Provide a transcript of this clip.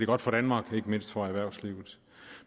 godt for danmark og ikke mindst for erhvervslivet